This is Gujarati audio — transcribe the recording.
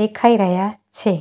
દેખાઈ રહ્યા છે.